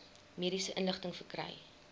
mediese inligting verkry